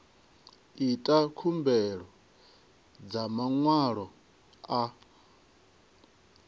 ita khumbelo dza maṅwalo a